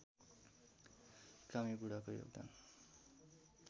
कामी बुढाको योगदान